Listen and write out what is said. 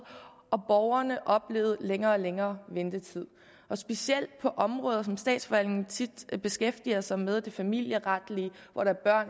og borgerne oplevede længere og længere ventetid specielt på områder som statsforvaltningen tit beskæftiger sig med for eksempel det familieretlige hvor der er